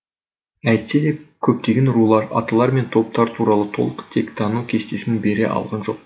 әйтсе де көптеген рулар аталар мен топтар туралы толық тектану кестесін бере алған жоқпыз